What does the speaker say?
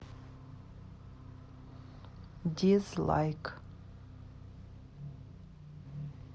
дизлайк